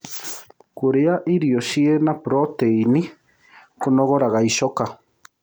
Kũrĩa irio ĩrĩ na proteĩnĩ kũnogoraga ĩchoka